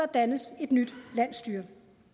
dannes et nyt landsstyre